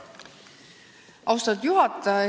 Austatud juhataja!